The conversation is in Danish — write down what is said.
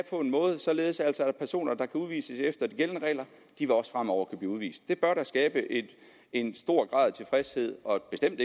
således at personer der kan udvises efter de gældende regler også fremover blive udvist det bør da skabe en stor grad af tilfredshed og bestemt